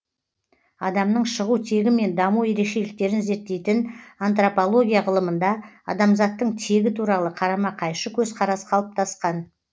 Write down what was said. адамның шығу тегі мен даму ерекшеліктерін зерттейтін антропология ғылымында адамзаттың тегі туралы қарама қайшы көзқарас қалыптасқан